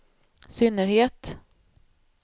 synnerhet